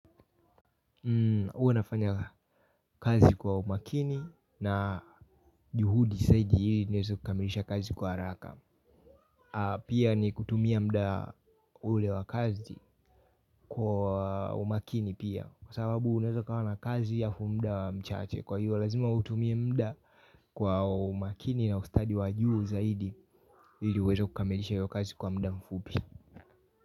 Huwa nafanya kazi kwa umakini na juhudi zaidi ili niweze kukamilisha kazi kwa haraka. Pia ni kutumia muda ule wa kazi kwa umakini pia. Kwa sababu unaweza kawa na kazi halafu muda mchache kwa hiyo lazima utumie muda kwa umakini na ustadi wa juu zaidi ili uweze kukamilisha hiyo kazi kwa muda mfupi.